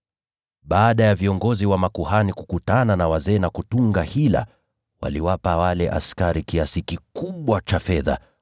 Baada ya viongozi wa makuhani kukutana na wazee na kutunga hila, waliwapa wale askari kiasi kikubwa cha fedha